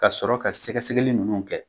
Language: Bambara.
Ka sɔrɔ ka sɛgɛsɛgɛli nunnu kɛ.